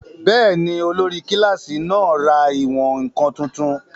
Bẹ́ẹ̀ni, olórí kílásì náà ra ìwọ̀n-ǹkan tuntun